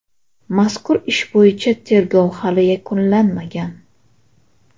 Mazkur ish bo‘yicha tergov hali yakunlanmagan.